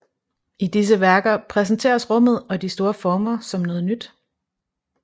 I disse værker præsenteres rummet og de store former som noget nyt